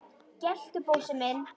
geltu, Bósi minn!